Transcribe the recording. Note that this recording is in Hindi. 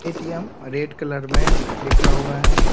ए.टी.एम. रेड कलर में लिखा हुआ है।